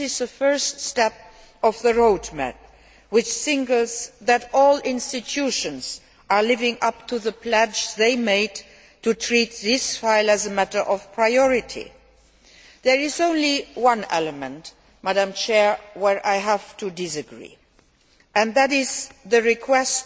This is the first step on the road map which indicates that all institutions are living up to the pledge they made to treat this file as a matter of priority. There is only one element with which I have to disagree, and that is the request